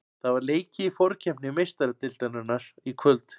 Það var leikið í forkeppni Meistaradeildarinnar í kvöld.